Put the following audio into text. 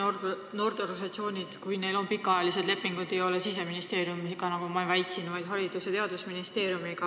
Tõesti, kui noorteorganisatsioonidel on pikaajalised lepingud, siis nad ei ole seotud Siseministeeriumiga, nagu ma väitsin, vaid Haridus- ja Teadusministeeriumiga.